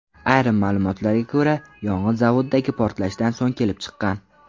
Ayrim ma’lumotlarga ko‘ra, yong‘in zavoddagi portlashdan so‘ng kelib chiqqan.